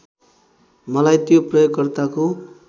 मलाई त्यो प्रयोगकर्ताको